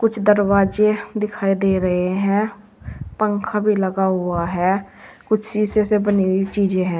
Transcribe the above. दरवाजे दिखाई दे रहे हैं पंखा भी लगा हुआ है कुछ शीशे से बनी हुई चीजें हैं।